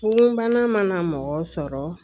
Fonbana mana mɔgɔ sɔrɔ